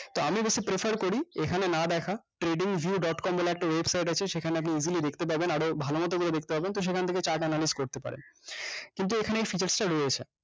তো আমি বেশ prefer করি এখানে না দেখা trading view dotcom একটা website আছে সেখানে আপনি easily দেখতে পাবেন আরো ভালো মত করে দেখতে পাবেন তো সেখান থেকে chart analysis করতে পারেন কিন্তু এখানে এই সুযোক টা রয়েছে